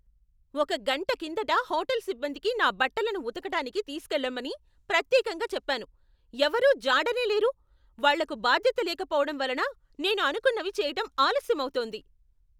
ఒక గంట కిందట హోటల్ సిబ్బందికి నా బట్టలను ఉతకటానికి తీసుకువెళ్లమని ప్రత్యేకంగా చెప్పాను, ఎవరూ జాడనే లేరు. వాళ్ళకు బాధ్యత లేకపోవడం వలన నేను అనుకున్నవి చెయ్యటం ఆలస్యమవుతోంది!